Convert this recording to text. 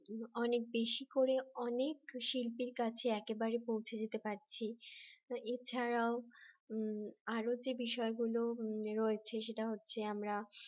অনেক বেশি করে অনেক শিল্পীর কাছে একেবারে পৌঁছে দিতে পারছি এছাড়াও আরো যে বিষয়গুলো রয়েছে সেটা হচ্ছে আমরা